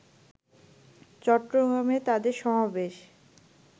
চট্টগ্রামে তাদের সমাবেশ